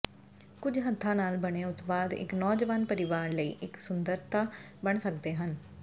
ਕੁਝ ਹੱਥਾਂ ਨਾਲ ਬਣੇ ਉਤਪਾਦ ਇੱਕ ਨੌਜਵਾਨ ਪਰਿਵਾਰ ਲਈ ਇੱਕ ਸੁੰਦਰਤਾ ਬਣ ਸਕਦੇ ਹਨ